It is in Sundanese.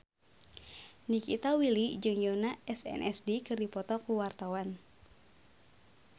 Nikita Willy jeung Yoona SNSD keur dipoto ku wartawan